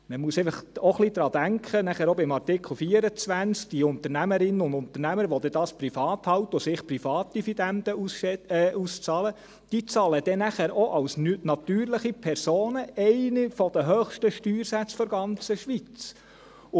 Man muss einfach auch ein wenig daran denken, auch später bei Artikel 24, dass die Unternehmerinnen und Unternehmer, die das privat halten und sich privat Dividenden auszahlen, dann auch als natürliche Personen einen der höchsten Steuersätze der ganzen Schweiz bezahlen.